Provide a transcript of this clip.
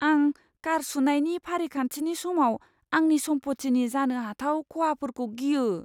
आं कार सुनायनि फारिखान्थिनि समाव आंनि सम्पथिनि जानो हाथाव खहाफोरखौ गियो।